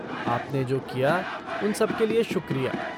आपने जो किया उन सब के लिए शुक्रिया।